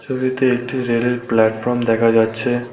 ছবিতে একটি রেল -এর প্ল্যাটফর্ম দেখা যাচ্ছে।